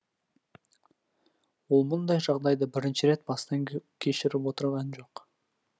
ол мұндай жағдайды бірінші рет бастан кешіріп отырған жоқ